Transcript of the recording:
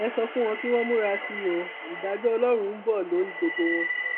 ẹ sọ fún wọn kí wọn múra sí i ó ìdájọ ọlọrun ń bọ lórí gbogbo wọn